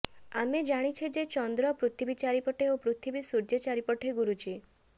ଆମେ ଜାଣିଛେ ଯେ ଚନ୍ଦ୍ର ପୃଥିବୀ ଚାରିପଟେ ଓ ପୃଥିବୀ ସୁର୍ଯ୍ୟ ଚାରିପଟେ ଘୁରୁଛି